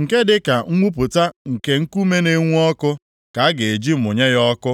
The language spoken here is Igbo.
nke dịka mwụpụta nke nkume na-enwu ọkụ ka a ga-eji mụnye ya ọkụ.